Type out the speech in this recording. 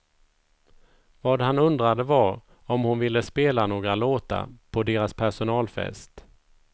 Vad han undrade var om hon ville spela några låtar på deras personalfest.